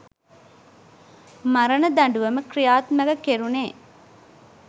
මරණ දඬුවම ක්‍රියාත්මක කෙරුණේ.